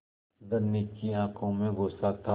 धनी की आँखों में गुस्सा था